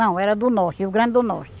Não, era do Norte, Rio Grande do Norte.